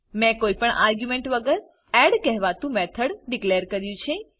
મેં કોઈ પણ આર્ગ્યુંમેન્ટ વગર એડ કહેવાતું મેથડ ડીકલેર કર્યું છે